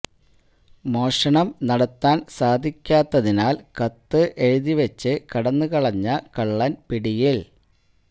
മോഷണം നടത്താൻ സാധിക്കാത്തിനാൽ കത്ത് എഴുതി വച്ച് കടന്നു കളഞ്ഞ കള്ളൻ പിടിയിൽ